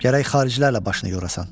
Gərək xaricilərlə başını yorasan.